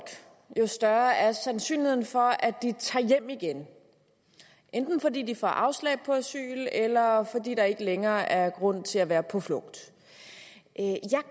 jo større er sandsynligheden for at de tager hjem igen enten fordi de får afslag på asyl eller fordi der ikke længere er grund til at være på flugt